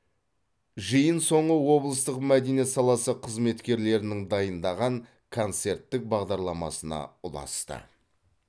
жиын соңы облыстық мәдениет саласы қызметкерлерінің дайындаған концерттік бағдарламасына ұласты